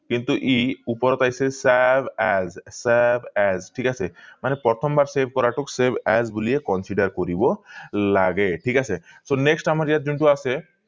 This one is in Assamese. কিন্তু এই ওপৰ আহিছে save as save as ঠিক আছে মানে প্ৰথম বাৰ save কৰাটো save as বুলি এই consider কৰিব লাগে ঠিক আছে so next ইয়াত আমাক ইয়াত যোনটো আছে